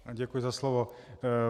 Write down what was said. Děkuji za slovo.